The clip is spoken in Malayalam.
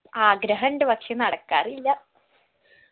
ആഗ്രഹുണ്ട് പക്ഷെ നടക്കാറില്ല